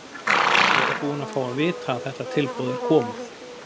Ég er bara búinn að fá að vita að þetta tilboð er komið.